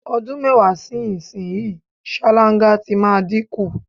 O̩dún mé̩wàá sí ìsinyìí, sáláńgá ti máa dínkù.